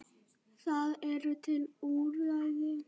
Það eru til úrræði.